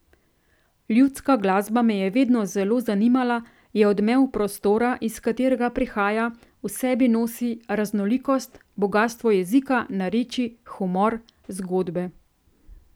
Ljudska glasba me je vedno zelo zanimala, je odmev prostora, iz katerega prihaja, v sebi nosi raznolikost, bogastvo jezika, narečij, humor, zgodbe.